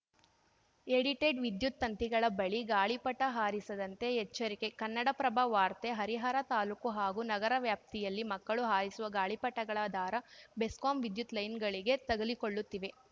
edited ವಿದ್ಯುತ್‌ ತಂತಿಗಳ ಬಳಿ ಗಾಳಿಪಟ ಹಾರಿಸದಂತೆ ಎಚ್ಚರಿಕೆ ಕನ್ನಡಪ್ರಭ ವಾರ್ತೆ ಹರಿಹರ ತಾಲೂಕು ಹಾಗೂ ನಗರ ವ್ಯಾಪ್ತಿಯಲ್ಲಿ ಮಕ್ಕಳು ಹಾರಿಸುವ ಗಾಳಿಪಟಗಳ ದಾರ ಬೆಸ್ಕಾಂ ವಿದ್ಯುತ್‌ ಲೈನ್ ಗಳಿಗೆ ತಗುಲಿಕೊಳ್ಳುತ್ತಿವೆ